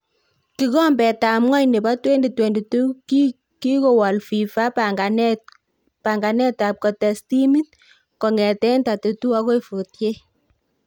Kikombetab ng'wony nebo 2022: Kikowal Fifa panganetab kotes timit kong'eten 32 agoi 48